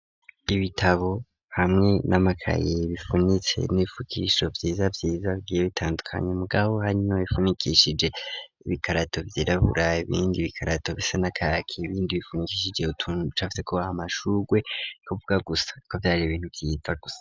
Ibitabo hamwe n'amakayi ,bifunitse n'ibifukishiro vyiza vyiza ,bigiye bitandukanye ,mu gabo hano bifunikishije ibikarato vyirabura ,ibindi bikarato bisa na kaki, ibindi bifunikishije utuntu ducafye ko amasugwe ,kuvuga gusa ko vyaribintu vyiza gusa.